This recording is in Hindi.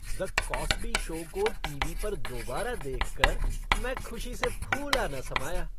द कॉस्बी शो को टीवी पर दोबारा देख कर मैं खुशी से फूला न समाया।